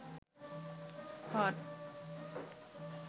hot